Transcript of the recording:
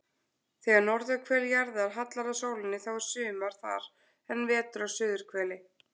Þegar norðurhvel jarðar hallar að sólinni þá er sumar þar en vetur á suðurhveli.